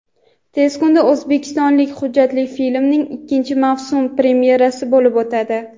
Tez kunda "O‘zbekistonlik" hujjatli filmining ikkinchi mavsum premyerasi bo‘lib o‘tadi.